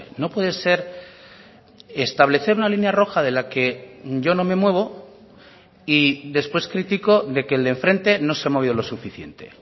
no puede ser establecer una línea roja de la que yo no me muevo y después critico de que el de enfrente no se ha movido lo suficiente